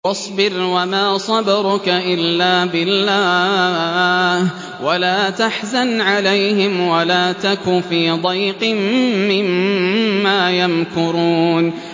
وَاصْبِرْ وَمَا صَبْرُكَ إِلَّا بِاللَّهِ ۚ وَلَا تَحْزَنْ عَلَيْهِمْ وَلَا تَكُ فِي ضَيْقٍ مِّمَّا يَمْكُرُونَ